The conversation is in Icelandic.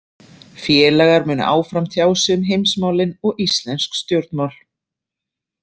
Félagar munu áfram tjá sig um heimsmálin og íslensk stjórnmál.